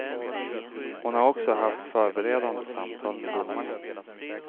Hon har också haft förberedande samtal med domarna.